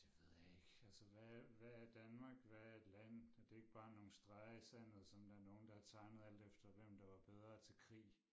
Det ved jeg ikke altså hvad hvad er Danmark? Hvad er et land? Er det ikke bare nogen streger i sandet som der er nogen der har tegnet alt efter hvem der var bedre i krig?